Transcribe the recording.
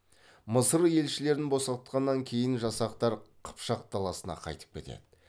мысыр елшілерін босатқаннан кейін жасақтар қыпшақ даласына қайтып кетеді